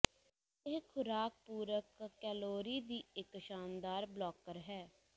ਇਹ ਖੁਰਾਕ ਪੂਰਕ ਕੈਲੋਰੀ ਦੀ ਇੱਕ ਸ਼ਾਨਦਾਰ ਬਲੌਕਰ ਹੈ